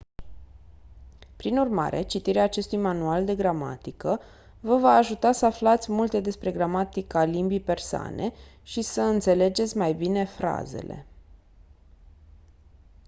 prin urmare citirea acestui manual de gramatică vă va ajuta să aflați multe despre gramatica limbii persane și să înțelegeți mai bine frazele